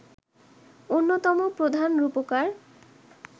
অন্যতম প্রধান রূপকার